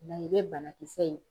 O la i bɛ banakisɛ ye.